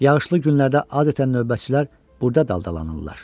Yağışlı günlərdə adətən növbətçilər burda daldalanırlar.